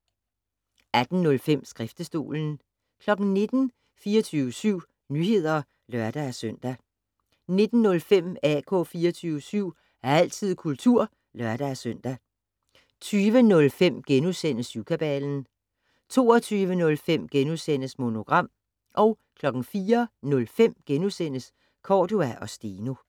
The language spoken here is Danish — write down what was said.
18:05: Skriftestolen 19:00: 24syv Nyheder (lør-søn) 19:05: AK 24syv - altid kultur (lør-søn) 20:05: Syvkabalen * 22:05: Monogram * 04:05: Cordua & Steno *